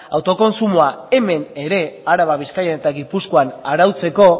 autokontsumoa hemen ere araban bizkaian eta gipuzkoan arautzeko